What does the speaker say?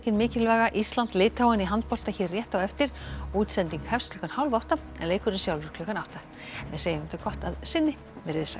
mikilvæga Ísland Litháen í handbolta hér rétt á eftir útsending hefst klukkan hálfátta en leikurinn sjálfur klukkan átta við segjum þetta gott að sinni verið þið sæl